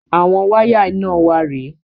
Àwọn wáyà iná wa rè é.